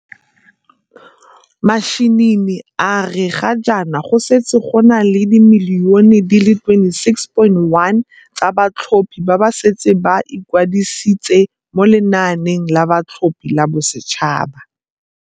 Mashinini a re ga jana go setse go na le dimilioyone di le 26.1 tsa batlhophi ba ba setseng ba ikwadisitse mo lenaaneng la batlhophi la bosetšhaba.